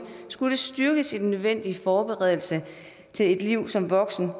skulle styrkes i den nødvendige forberedelse til et liv som voksen